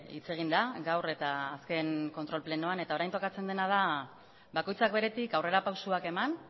hitz egin da gaur eta azken kontrol plenoan eta orain tokatzen dena da bakoitzak beretik aurrera pausoak eman